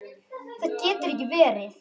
Það getur ekki verið!